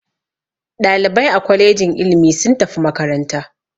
Ɗalibai a kwalejin ilimi sun tafi makaranta.